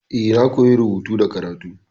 E, na koyi rubutu da karatu.